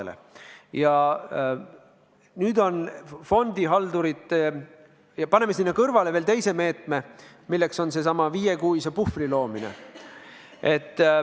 Me paneme sinna fondihaldurite jaoks kõrvale veel teise meetme, milleks on seesama viiekuine puhver.